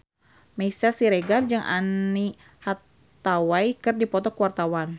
Meisya Siregar jeung Anne Hathaway keur dipoto ku wartawan